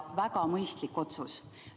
Väga mõistlik otsus!